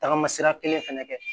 Tagama sira kelen fɛnɛ kɛ